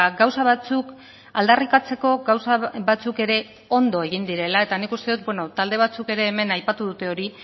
gauza batzuk aldarrikatzeko gauza batzuk ere ondo egin direla eta nik uste dut talde batzuk ere hemen aipatu dute hori